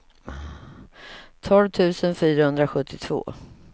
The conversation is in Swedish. tolv tusen fyrahundrasjuttiotvå